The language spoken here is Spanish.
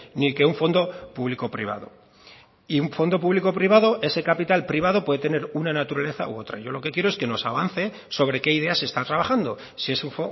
ni que un fondo público privado y un fondo público privado ese capital privado puede tener una naturaleza u otra yo lo que quiero es que nos avance sobre qué ideas se está trabajando si es un